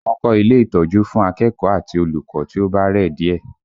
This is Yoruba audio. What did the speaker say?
Wọ́n kọ ilé ìtọ́jú fún akẹ́kọ̀ọ́ àti olùkọ́ tí ó bá rẹ̀ díẹ̀